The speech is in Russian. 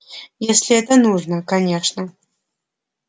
если это нужно конечно